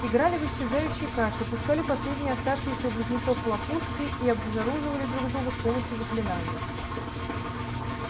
играли в исчезающие карты пускали последние оставшиеся у близнецов хлопушки и обезоруживали друг друга с помощью заклинаний